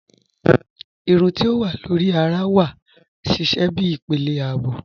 Irùn ti o wà lórí àrà wà sísẹ̀ bí ìpélé ààbò